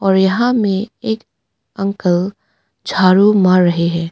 और यहां में एक अंकल झाड़ू मार रहे हैं।